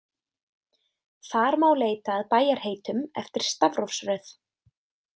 Þar má leita að bæjarheitum eftir stafrófsröð.